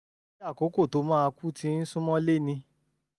um ṣé àkókò tó máa kú ti ń sún mọ́lé ni?